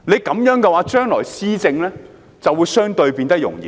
這樣的話，將來施政就會相對容易。